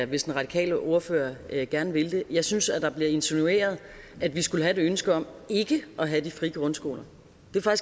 hvis den radikale ordfører gerne vil det jeg synes at der bliver insinueret at vi skulle have et ønske om ikke at have de frie grundskoler